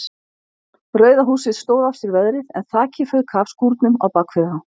Rauða húsið stóð af sér veðrið en þakið fauk af skúrnum á bakvið það.